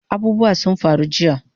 Abubuwa sun faru jiya